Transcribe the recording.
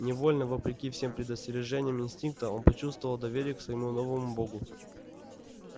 невольно вопреки всем предостережениям инстинкта он почувствовал доверие к своему новому богу